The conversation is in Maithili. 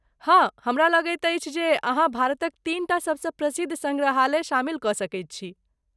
हँ! हमरा लगैत अछि जे अहाँ भारतक तीन टा सबसँ प्रसिद्ध सङ्ग्रहालय शामिल कऽ सकैत छी।